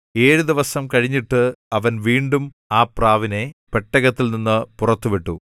ഏഴ് ദിവസം കഴിഞ്ഞിട്ട് അവൻ വീണ്ടും ആ പ്രാവിനെ പെട്ടകത്തിൽനിന്നു പുറത്തു വിട്ടു